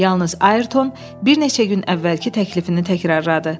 Yalnız Ayrton bir neçə gün əvvəlki təklifini təkrarladı.